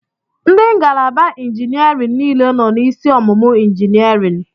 Ndị ngalaba injiniarịn niile nọ n'isi ọmụmụ injiniarịn.